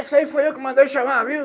Esse aí foi eu que mandei chamar, viu?